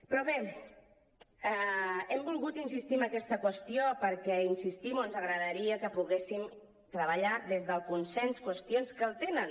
però bé hem volgut insistir en aquesta qüestió perquè hi insistim ens agrada·ria que poguéssim treballar des del consens qüestions que el tenen